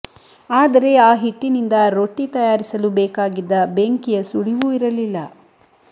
ಆದರೆ ಆ ಹಿಟ್ಟಿನಿಂದ ರೊಟ್ಟಿ ತಯಾರಿಸಲು ಬೇಕಾಗಿದ್ದ ಬೆಂಕಿಯ ಸುಳಿವೂ ಇರಲಿಲ್ಲ